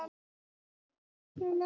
Eðli gosvirkninnar er ólíkt.